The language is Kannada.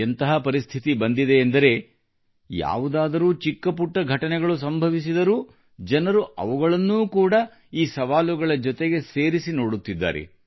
ಎಂತಹ ಪರಿಸ್ಥಿತಿ ಬಂದಿದೆ ಎಂದರೆ ಯಾವುದಾದರೂ ಚಿಕ್ಕ ಪುಟ್ಟ ಘಟನೆಗಳು ಸಂಭವಿಸಿದರೂ ಜನರು ಅವುಗಳನ್ನೂ ಕೂಡ ಈ ಸವಾಲುಗಳ ಜೊತೆಗೆ ಸೇರಿಸಿ ನೋಡುತ್ತಿದ್ದಾರೆ